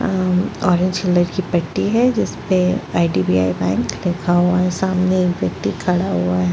अ orange colour की पट्टी है जिसपे आई_डी_बी_आई बैंक लिखा हुआ है सामने एक व्यक्ति खड़ा हुआ है।